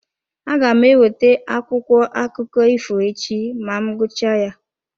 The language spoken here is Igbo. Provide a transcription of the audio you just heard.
Aga m eweta akwụkwọ akụkọ ifo echi ma m gụchaa ya.